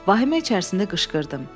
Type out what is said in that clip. Vahimə içərisində qışqırdım.